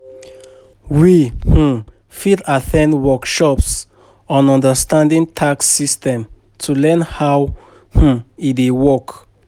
We um fit at ten d workshops on understanding tax systems to learn how um e dey work.